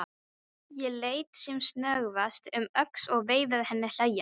Ég leit sem snöggvast um öxl og veifaði henni hlæjandi.